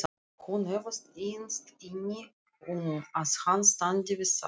Hún efast innst inni um að hann standi við það.